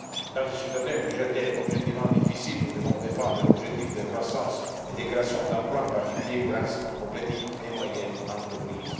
Dans ce contexte budgétaire objectivement difficile, nous devons défendre l'objectif de croissance et de création d'emplois, en particulier grâce aux petites et moyennes entreprises.